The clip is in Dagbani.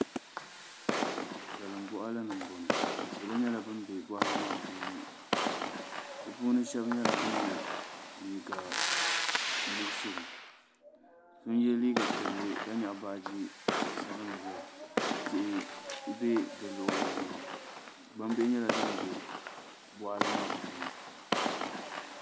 Salin boɣali ni n boŋo salo nyɛla ban bɛ boɣali maa puuni bi puuni so nyɛla ŋun yɛ liiga nuɣso so n yɛ liiga piɛlli ka nyaɣa baaji sabinli ʒiya tihi bɛ di luɣuli zuɣu gbambili nyɛla din bɛ boɣali maa puuni